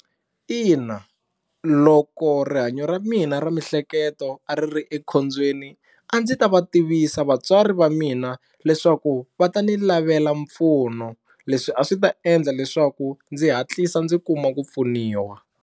Ina loko rihanyo ra mina ra miehleketo a ri ri ekhombyeni a ndzi ta va tivisa vatswari va mina leswaku va ta ni lavela mpfuno leswi a swi ta endla leswaku ndzi hatlisa ndzi kuma ku pfuniwa.